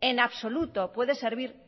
en absoluto puede servir